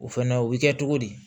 O fɛnɛ o bɛ kɛ cogo di